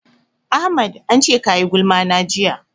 Ahmad an ce ka yi gulma na jiya.